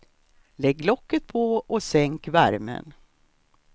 Lägg locket på och sänk värmen.